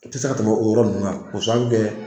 I tɛ se ka tɛmɛ o yɔrɔ ninnu kan k'o sababu kɛ